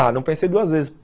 Ah, não pensei duas vezes.